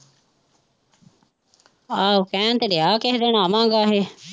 ਆਹੋ ਕਹਿਣ ਤੇ ਡਿਆ ਕਿਸੇ ਦਿਨ ਆਵਾਂਗੇ ਇਹ।